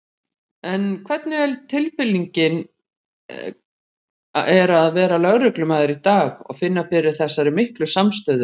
En hvernig tilfinning er að vera lögreglumaður í dag og finna fyrir þessari miklu samstöðu?